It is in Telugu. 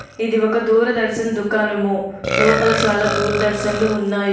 ఇది ఒక దూరదర్శన్ దుకాణము లోపల చాలా దూరదర్శన్ లు ఉన్నాయి.